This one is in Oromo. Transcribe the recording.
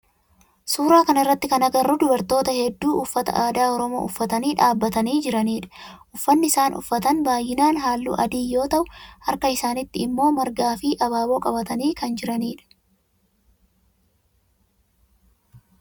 Suuraa kana irratti kan agarru dubartoota heddu uffata aadaa oromoo uffatanii dhaabbatanii jiranidha. Uffanni isaan uffatan baayyinaan halluu adii yoo ta'u harka isaanitti immoo margaa fi abaaboo qabatanii kan jiranidha.